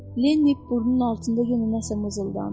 Lenni burnunun altında yenə nəsə mızıldandı.